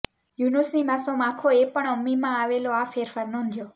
યુનુસ ની માસુમ આંખો એ પણ અમ્મીમાં આવેલો આ ફેરફાર નોંધ્યો